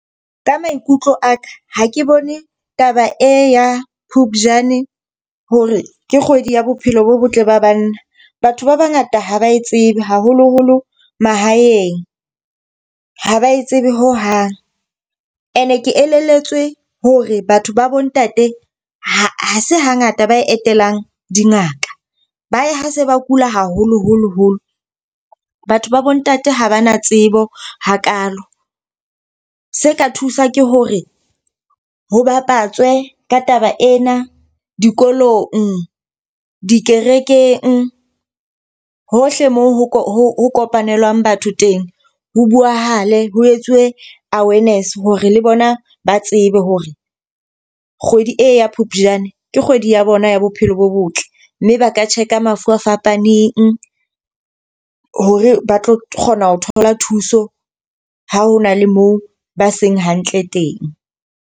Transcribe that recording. Ka maikutlo a ka, ha ke bone taba e ya Phupjane hore ke kgwedi ya bophelo bo botle ba banna. Batho ba ba ngata ha ba e tsebe, haholoholo mahaeng, ho ba e tsebe ho hang. E ne ke elelletswe hore batho ba bo ntate ha se ha ngata ba etelang dingaka, ba ya ha se ba kula haholoholo holo. Batho ba bo ntate ha ba na tsebo hakalo. Se ka thusa ke hore ho bapatswe ka taba ena dikolong, dikerekeng hohle mo ho kopanelang batho teng. Ho buahale ho etsuwe awareness hore le bona ba tsebe hore kgwedi e ya Phupjane ke kgwedi ya bona ya bophelo bo botle. Mme ba ka check mafu a fapaneng hore ba tlo kgona ho thola thuso ha hona le moo ba seng hantle teng.